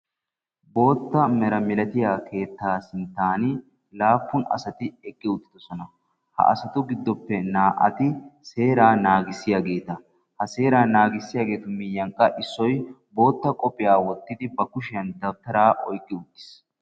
Bootta mera milatiya keettaa sinttan laappun asati eqqi uttidosona. Ha asatu gidoppe naa"ati seeraa naagissiyageeta. Ha seeraa naagissiyageetu miyyiyan qa issoy bootta qophiya wottidi ba kushiyan dawutaraa oyiqqi uttis.